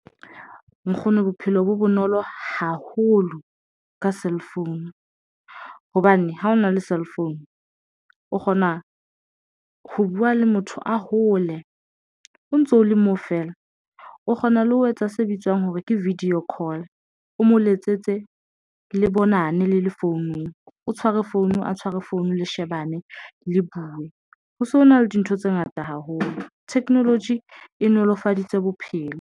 Nkgono bophelo bo bonolo haholo ka cellphone hobane ha hona le cellphone o kgona ho buwa le motho a hole o ntso o le moo feela o kgona le ho etsa se bitswang hore ke video call o mo letsetse le bonane le le founung, o tshware founung, a tshware founu, le shebane le buwe. Ho se ho na le dintho tse ngata haholo. Technology e nolofaditse bophelo.